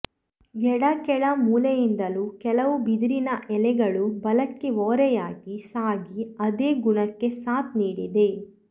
ಎಡ ಕೆಳ ಮೂಲೆಯಿಂದಲೂ ಕೆಲವು ಬಿದಿರಿನ ಎಳೆಗಳು ಬಲಕ್ಕೆ ಓರೆಯಾಗಿ ಸಾಗಿ ಅದೇ ಗುಣಕ್ಕೆ ಸಾತ್ ನೀಡಿದೆ